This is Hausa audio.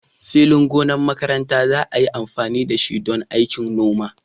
Filin gonar makaranta za a yi amfani da shi don aikin noma